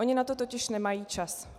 Oni na to totiž nemají čas.